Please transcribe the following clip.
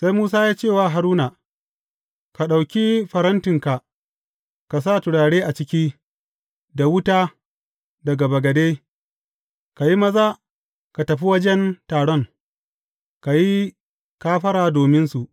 Sai Musa ya ce wa Haruna, Ka ɗauki farantinka ka sa turare a ciki, da wuta daga bagade, ka yi maza ka tafi wajen taron, ka yi kafara dominsu.